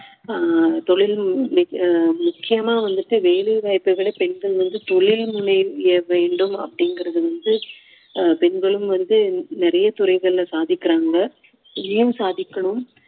ஆஹ் தொழில் மி~ ஆஹ் முக்கியமா வந்துட்டு வேலை வாய்ப்பை விட பெண்கள் வந்து தொழில் முனைய வேண்டும் அப்படிங்குறது வந்து அஹ் பெண்களும் வந்து நிறைய துறைகளில சாதிக்குறாங்க இங்கேயும் சாதிக்கணும்